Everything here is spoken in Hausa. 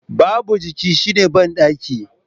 Babu jiki shine bandaki